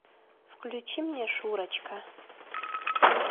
включи мне шурочка